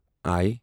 I